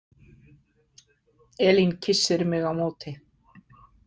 Elín kyssir mig á móti.